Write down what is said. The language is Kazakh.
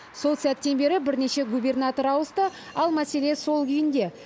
сол сәттен бері бірнеше губернатор ауысты ал мәселе сол күйінде